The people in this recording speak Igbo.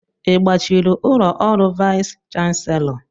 I gbachiri ụlọ ọrụ vais chanselọ?